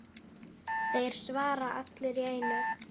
Þeir svara allir í einu.